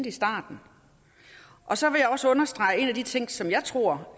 i starten så vil jeg også understrege en af de ting som jeg tror